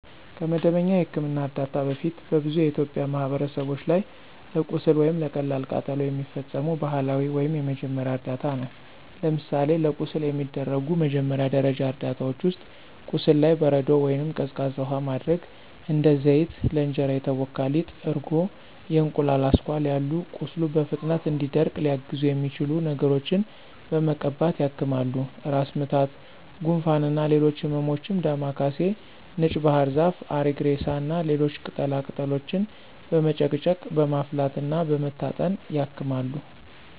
ከመደበኛ የሕክምና እርዳታ በፊት በብዙ የኢትዮጵያ ማህበረሰቦች ላይ ለቁስል ወይም ለቀላል ቃጠሎ የሚፈጸሙ ባህላዊ ወይም የመጀመሪያ እርዳታ ነው። ለምሳሌ ለቁስል የሚደረጉ መጀመሪያ ደረጃ እርዳታዎች ውስጥ፦ ቁስሉ ላይ በረዶ ወይንም ቀዝቃዛ ውሃ ማድረግ፣ እንደ ዘይት፣ ለእንጀራ የተቦካ ሊጥ፣ እርጎ፣ የእንቁላል አስኳል ያሉ ቁስሉ በፍጥነት እንዲደርቅ ሊያግዙት የሚችሉ ነገሮችን በመቀባት ያክማሉ። ራስ ምታት፣ ጉንፋን እና ሌሎች ህመሞችም ዳማ ካሴ፣ ነጭ ባህርዛፍ፣ አሪግሬሳ እና ሌሎች ቅጠላ ቅጠሎችን በመጨቅጨቅ፣ በማፍላት እና በመታጠን ያክማሉ።